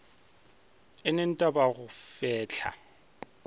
eneng t a go fehla